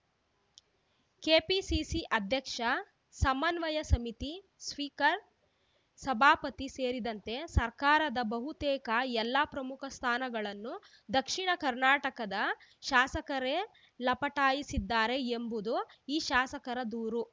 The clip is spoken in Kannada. ಕೆಪಿಸಿಸಿ ಅಧ್ಯಕ್ಷ ಸಮನ್ವಯ ಸಮಿತಿ ಸ್ಪೀಕರ್‌ ಸಭಾಪತಿ ಸೇರಿದಂತೆ ಸರ್ಕಾರದ ಬಹುತೇಕ ಎಲ್ಲಾ ಪ್ರಮುಖ ಸ್ಥಾನಗಳನ್ನು ದಕ್ಷಿಣ ಕರ್ನಾಟಕದ ಶಾಸಕರೇ ಲಪಟಾಯಿಸಿದ್ದಾರೆ ಎಂಬುದು ಈ ಶಾಸಕರ ದೂರು